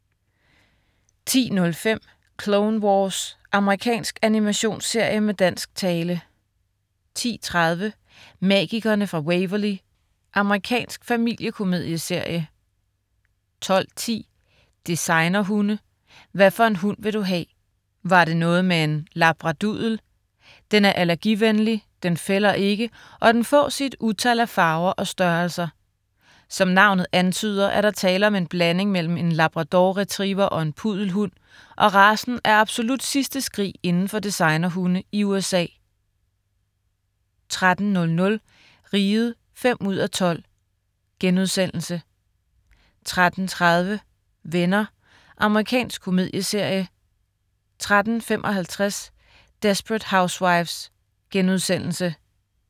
10.05 Clone Wars. Amerikansk animationsserie med dansk tale 10.30 Magikerne fra Waverly. Amerikansk familiekomedieserie 12.10 Designerhunde. Hvaffor en hund vil du ha'?! Var det noget med en labradudel? Den er allergivenlig, den fælder ikke, og den fås i et utal af farver og størrelser. Som navnet antyder, er der tale om en blanding mellem en labrador retriever og en puddelhund, og racen er absolut sidste skrig inden for designerhunde i USA 13.00 Riget 5:12* 13.30 Venner. Amerikansk komedieserie 13.55 Desperate Housewives*